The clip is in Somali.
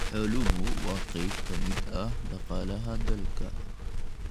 Xooluhu waa qayb ka mid ah dhaqaalaha dalka.